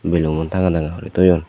belomon tanga tanga guri toyon.